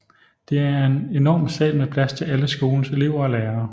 Det er en enorm sal med plads til alle skolens elever og lærere